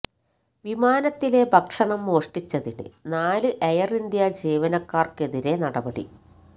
വിമാനത്തിലെ ഭക്ഷണം മോഷ്ടിച്ചതിന് നാല് എയര് ഇന്ത്യാ ജീവനക്കാര്ക്കെതിരെ നടപടി